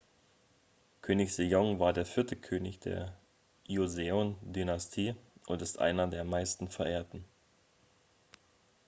könig sejong war der vierte könig der joseon-dynastie und ist einer der am meisten verehrten